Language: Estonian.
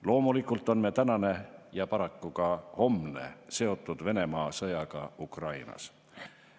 Loomulikult on meie tänane ja paraku ka homne seotud Venemaa sõjaga Ukrainas.